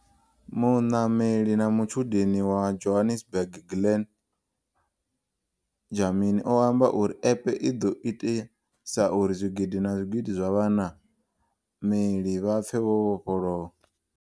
Munameli na mutshudeni wa Johannesburg Glen Dlamini o amba uri App i ḓo itisa uri zwigidi na zwigidi zwa vhana meli vha pfe vho vhofholowa.